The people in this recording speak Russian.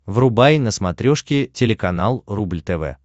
врубай на смотрешке телеканал рубль тв